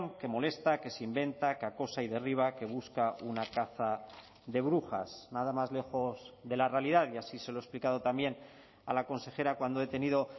que molesta que se inventa que acosa y derriba que busca una caza de brujas nada más lejos de la realidad y así se lo he explicado también a la consejera cuando he tenido